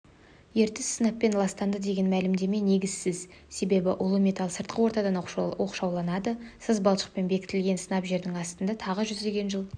ертіс сынаппен ластанды деген мәлімдеме негізсіз себебі улы металл сыртқы ортадан оқшауланды саз балшықпен бекітілген сынап жердің астында тағы жүздеген жыл